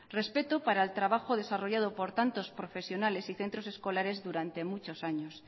respeto para el trabajo desarrollado por tantos profesionales y centros escolares durante muchos años